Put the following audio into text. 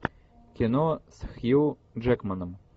кино с хью джекманом